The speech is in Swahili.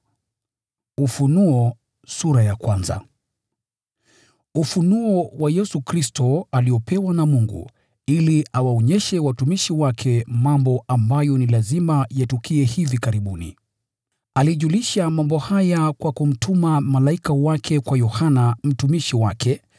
Ufunuo wa Yesu Kristo aliopewa na Mungu ili awaonyeshe watumishi wake mambo ambayo ni lazima yatukie hivi karibuni. Alijulisha mambo haya kwa kumtuma malaika wake kwa Yohana mtumishi wake,